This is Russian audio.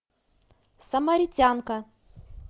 самаритянка